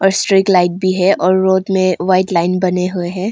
और street light भी है और रोड में वाइट लाइन बने हुए हैं।